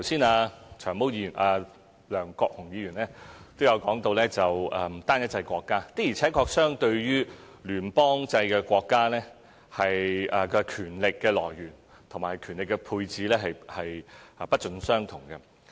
梁國雄議員剛才也提到單一制國家，的確，相對於聯邦制國家，共權力來源和權力配置是不盡相同的。